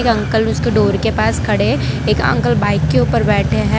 Uncle उसके door के पास खड़े है एक अंकल बाइक के ऊपर बैठे हैं।